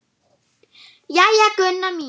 Jæja, Gunna mín.